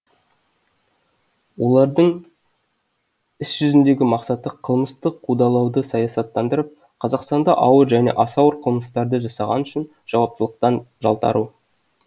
олардың іс жүзіндегі мақсаты қылмыстық қудалауды саясаттандырып қазақстанда ауыр және аса ауыр қылмыстарды жасағаны үшін жауаптылықтан жалтару